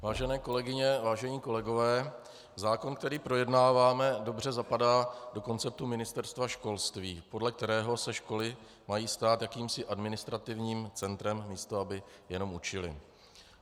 Vážené kolegyně, vážení kolegové, zákon, který projednáváme, dobře zapadá do konceptu Ministerstva školství, podle kterého se školy mají stát jakýmsi administrativním centrem, místo aby jenom učily.